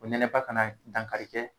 O nɛnɛba ka na dankari kɛ